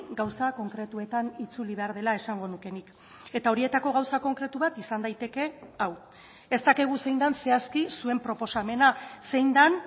gauza konkretuetan itzuli behar dela esango nuke nik eta horietako gauza konkretu bat izan daiteke hau ez dakigu zein den zehazki zuen proposamena zein den